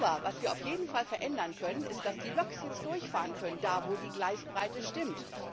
Aber was wir auf jeden Fall verändern können, ist, dass die Loks jetzt durchfahren können, da, wo die Gleisbreite stimmt.